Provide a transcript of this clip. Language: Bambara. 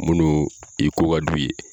Munnu i ko ka d'u ye